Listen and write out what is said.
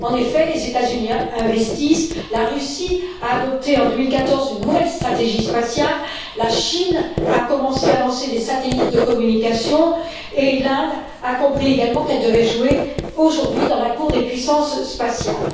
En effet, les États Unis investissent, la Russie a adopté en 2014 une nouvelle stratégie spatiale, la Chine a commencé à lancer des satellites de communication et l'Inde a compris également qu'elle devait jouer aujourd'hui dans la cour des puissances spatiales.